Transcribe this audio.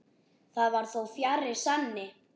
Það var þó fjarri sanni.